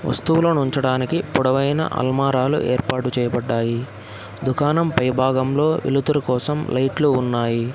వస్తువులనుంచడానికి పొడవైన అల్మారాలు ఏర్పాటు చేయబడ్డాయి దుకాణం పై భాగంలో వెలుతురు కోసం లైట్లు ఉన్నాయి.